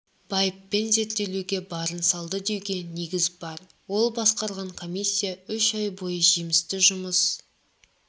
байыппен зерделеуге барын салды деуге негіз бар ол басқарған комиссия үш ай бойы жемісті жұмыс